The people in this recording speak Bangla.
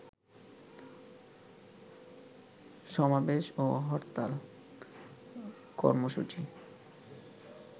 সমাবেশ ও হরতাল কর্মসূচি